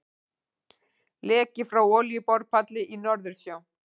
Leki frá olíuborpalli í Norðursjó.